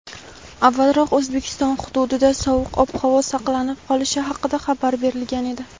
avvalroq O‘zbekiston hududida sovuq ob-havo saqlanib qolishi haqida xabar berilgan edi.